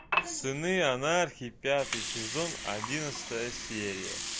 сыны анархии пятый сезон одиннадцатая серия